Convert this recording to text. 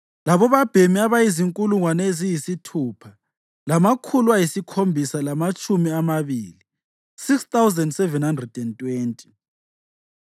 labobabhemi abazinkulungwane eziyisithupha lamakhulu ayisikhombisa lamatshumi amabili (6,720).